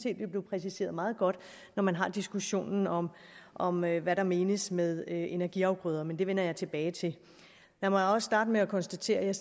at det blev præciseret meget godt når man har diskussionen om om hvad hvad der menes med energiafgrøder men det vender jeg tilbage til lad mig også starte med at konstatere at jeg